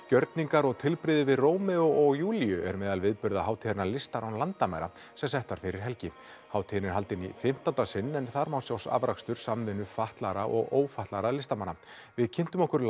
gjörningar og tilbrigði við Rómeó og Júlíu eru meðal viðburða hátíðarinnar listar án landamæra sem sett var fyrir helgi hátíðin er haldin í fimmtánda sinn en þar má sjá afrakstur samvinnu fatlaðra og ófatlaðra listamanna við kynntum okkur